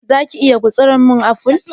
za ka/ ki iya gutsura min apple?